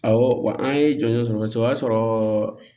Awɔ wa an ye jɔli sɔrɔ kosɛbɛ o y'a sɔrɔ